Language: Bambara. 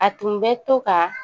A tun bɛ to ka